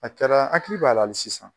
A kɛra , n hakili b'a la hali sisan.